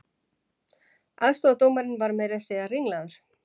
Aðstoðardómarinn var meira að segja ringlaður